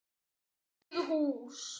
Bakið hús.